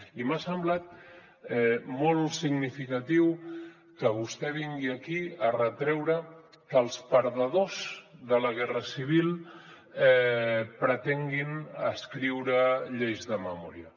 i m’ha semblat molt significatiu que vostè vingui aquí a retreure que els perdedors de la guerra civil pretenguin escriure lleis de memòria